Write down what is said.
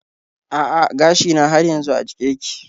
A'a gashina har yanzu a jike yake.